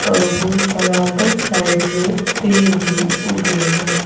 बराबर साइड में पेड़ भी ऊगे हैं।